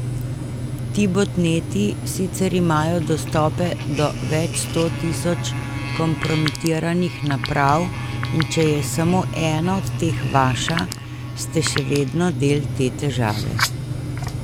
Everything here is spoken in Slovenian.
Ti botneti sicer imajo dostope do večsto tisoč kompromitiranih naprav in če je samo ena od teh vaša, ste še vedno del te težave.